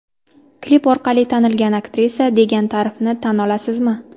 Klip orqali tanilgan aktrisa, degan ta’rifni tan olasizmi?